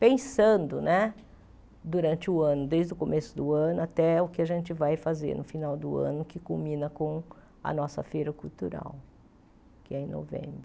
Pensando né durante o ano, desde o começo do ano até o que a gente vai fazer no final do ano, que culmina com a nossa Feira Cultural, que é em novembro.